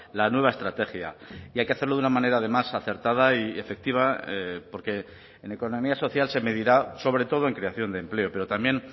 la nueva estrategia y hay que hacerlo de una manera además acertada y efectiva porque en economía social se medirá sobre todo en creación de empleo pero también